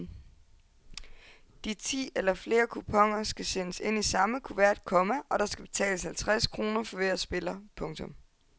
De ti eller flere kuponer skal sendes ind i samme kuvert, komma og der skal betales halvtreds kroner for hver spiller. punktum